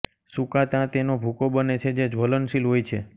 સુકાતાં તેનો ભૂકો બને છે જે જ્વલનશીલ હોય છે